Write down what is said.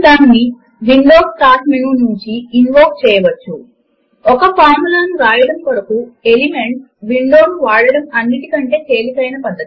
లేదా LibreOffice suite లోని ఇతర డాక్యుమెంట్ లలో వాడగలము వ్రైటర్ లేదా కాల్క్ లలోని డాక్యుమెంట్ లలో సూత్రములను పెట్టవచ్చు